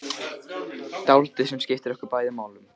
Dáldið sem skiptir okkur bæði máli.